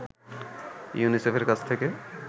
ইউনিসেফের কাছ থেকে